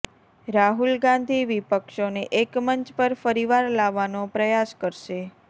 રાહુલ ગાંધી વિપક્ષોને એકમંચ પર ફરીવાર લાવવાનો પ્રયાસ કરશે